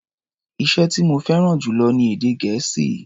Iṣẹ́ tí mo fẹ́ràn jù lọ ni èdè Gẹ̀ẹ́sì.